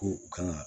Ko u kan ka